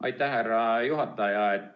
Aitäh, härra juhataja!